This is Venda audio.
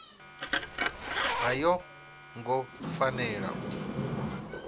a yo ngo fanela u